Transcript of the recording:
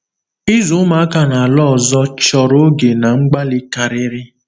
Ịzụ ụmụaka n’ala ọzọ chọrọ oge na mgbalị karịrị.